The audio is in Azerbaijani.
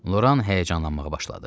Loran həyəcanlanmağa başladı.